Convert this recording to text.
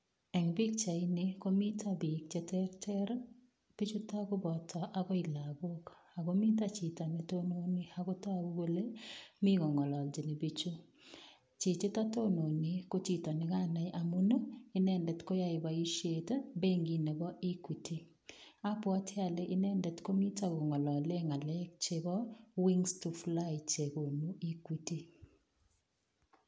Eng pichaini komito biik cheterter, biichuto koboto agoi lagok, ago mito chito ne tononi ago tagu kole mi kongalachini biichu. Chichito tononi ko chito ne kanai amun, inendet koyae boisiet, benkit nebo Equity. Abwoti ale inendet komito kongalale ngalek chebo wings to fly chegonu Equity.